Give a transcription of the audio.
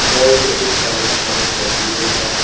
और बहुत सारी पाईप रखी हुई है।